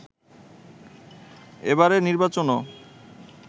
এবারের নির্বাচনও